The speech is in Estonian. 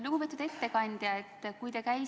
Lugupeetud ettekandja!